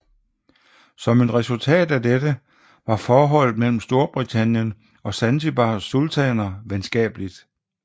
Som et resultat af dette var forholdet mellem Storbritannien og Zanzibars sultaner venskabeligt